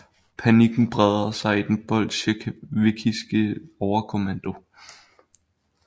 Panikken breder sig i den bolsjevikiske overkommando